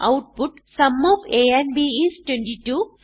output sum of a and b is 22